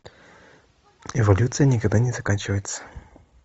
эволюция никогда не заканчивается